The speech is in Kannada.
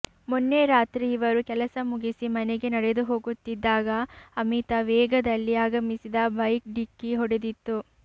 ಮೊನ್ನೆ ರಾತ್ರಿ ಇವರು ಕೆಲಸ ಮುಗಿಸಿ ಮನೆಗೆ ನಡೆದು ಹೋಗುತ್ತಿದ್ದಾಗ ಅಮಿತ ವೇಗದಲ್ಲಿ ಆಗಮಿಸಿದ ಬೈಕ್ ಢಿಕ್ಕಿ ಹೊಡೆದಿತ್ತು